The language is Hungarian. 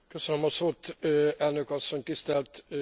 Elnök asszony, tisztelt Biztos úr!